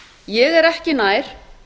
ég er ekki nær